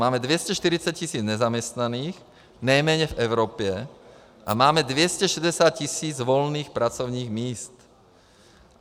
Máme 240 tisíc nezaměstnaných, nejméně v Evropě, a máme 260 tisíc volných pracovních míst.